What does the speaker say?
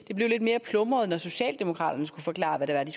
det blev lidt mere plumret da socialdemokraterne skulle forklare hvad det